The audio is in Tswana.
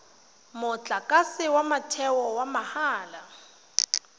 motlakase wa motheo wa mahala